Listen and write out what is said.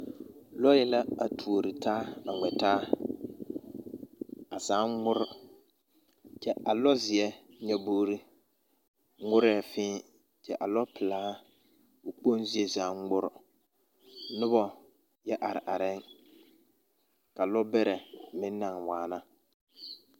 Lɔɛ la a tuori taa a ŋmɛ taa. A zaaŋ ŋmore, kyɛ a lɔzeɛ nyɔboori ŋmorɛɛ fẽẽ kyɛ a lɔpelaa, o kpoŋ zie zaaŋ ŋmore nobɔ yɛ are arɛɛŋ, ka lɛbɛrɛ meŋ naŋ waana.